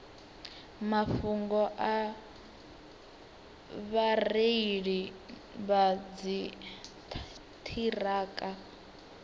mafhungo a vhareili vha dziṱhirakha